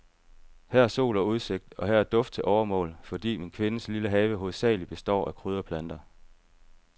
Her er sol og udsigt, og her er duft til overmål, fordi min kvindes lille have hovedsagelig består af krydderplanter.